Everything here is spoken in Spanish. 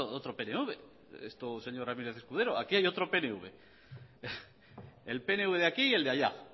otro pnv señor ramírez escudero aquí hay otro pnv el pnv de aquí y el de allá